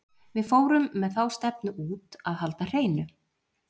Við fórum með þá stefnu út að halda hreinu.